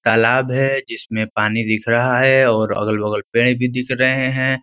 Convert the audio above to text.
तालाब है जिसमें पानी दिख रहा है और अगल बगल पेड़ भी दिख रहे हैं।